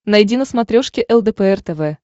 найди на смотрешке лдпр тв